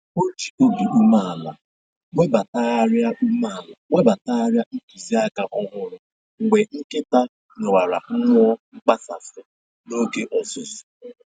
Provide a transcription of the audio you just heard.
O ji obi umeala webatagharịa umeala webatagharịa ntụziaka ọhụrụ mgbe nkịta nwewara mmụọ mkpasasị n'oge ọzụzụ